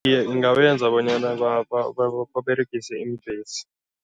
Iye, ingabenza bonyana baberegise iimbhesi.